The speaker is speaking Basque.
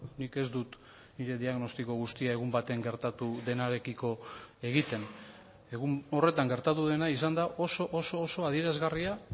nik ez dut nire diagnostiko guztia egun baten gertatu denarekiko egiten egun horretan gertatu dena izan da oso oso oso adierazgarria